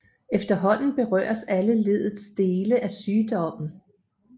Efterhånden berøres alle leddets dele af sygdommen